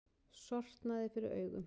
Sortnaði fyrir augum.